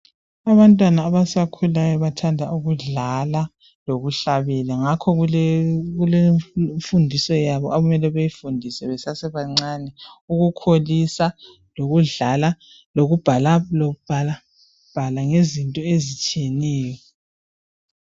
Abantwana abasakhulayo bathanda ukudlala lokuhlabela, ngakho kulemfundiso yabo okumele beyifundiswe besasebancane ukukholisa lokudlala lokubhalabhala ngezinto ezitshiyeneyo.